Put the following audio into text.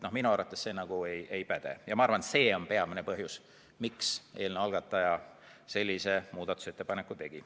Minu arvates see ei päde ja ma arvan, et see on peamine põhjus, miks eelnõu algataja sellise muudatusettepaneku tegi.